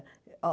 Olha...